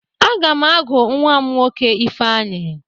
A ga m agụ nnwa m nwoke Ifeanyi